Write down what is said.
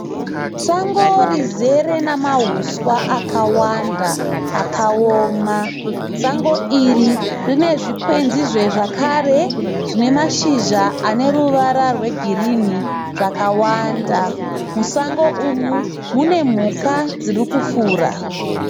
Sango rizere namahuswa akawanda akaoma. Sango iri rine zvikwenzizve zvakare zvine mashizha ane ruvara rwegirini zvakawanda. Musango umu mune mhuka dzirikufura.